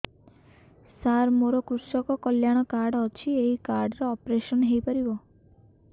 ସାର ମୋର କୃଷକ କଲ୍ୟାଣ କାର୍ଡ ଅଛି ଏହି କାର୍ଡ ରେ ଅପେରସନ ହେଇପାରିବ